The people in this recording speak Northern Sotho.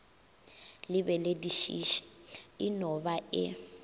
lebeledišiše e no ba e